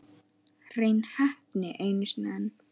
Hrein heppni einu sinni enn.